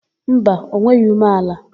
Mba, o nweghị umeala.